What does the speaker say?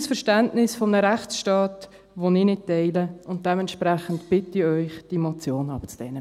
Das ist ein Verständnis eines Rechtsstaates, das ich nicht teile, und dementsprechend bitte ich Sie, diese Motion abzulehnen.